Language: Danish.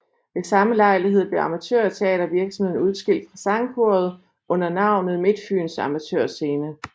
Ved samme lejlighed blev amatørteatervirksomheden udskilt fra sangkoret under navnet Midtfyns Amatør Scene